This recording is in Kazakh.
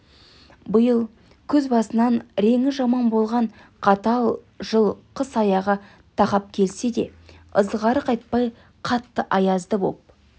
биыл күз басынан реңі жаман болған қатал жыл қыс аяғы тақап келсе де ызғары қайтпай қатты аязды боп